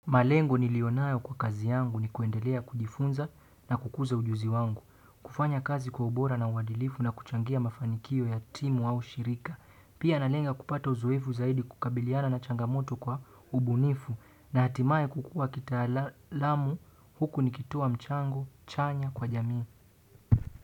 Malengo nilionayo kwa kazi yangu ni kuendelea kujifunza na kukuza ujuzi wangu. Kufanya kazi kwa ubora na uadilifu na kuchangia mafanikio ya timu au shirika. Pia nalenga kupata uzoefu zaidi kukabiliana na changamoto kwa ubunifu na hatimaye kukua kitaalamu huku nikitoa mchango chanya kwa jamii.